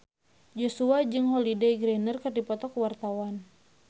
Joshua jeung Holliday Grainger keur dipoto ku wartawan